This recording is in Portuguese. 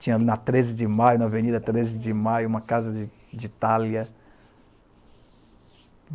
Tinha na treze de maio, na Avenida treze de Maio uma casa de de Itália.